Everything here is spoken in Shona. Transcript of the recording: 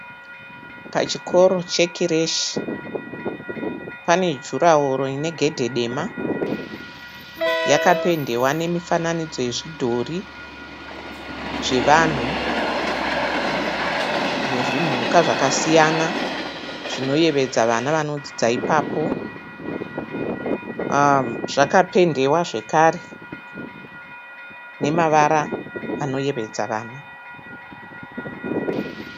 Pachikoro chekireshi pana jurahoro inegedhe dema. Yapendewa nemifananodzo yezvidhori zvevanhu nezvimhuka zvakasiyana zvinoyevedza vana vanodzidza ipapo. Zvakapendewa zvekare nemavara anoyevedza vana.